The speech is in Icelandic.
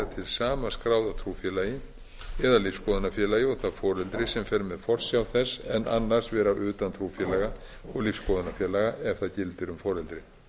til sama skráða trúfélagi eða lífsskoðunarfélagi og það foreldri sem fer með forsjá þess en annars vera utan trúfélaga og lífsskoðunarfélaga ef það gildir um foreldrið